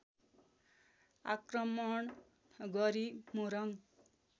आक्रमण गरी मोरङ